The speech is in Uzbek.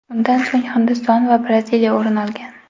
Undan so‘ng Hindiston va Braziliya o‘rin olgan.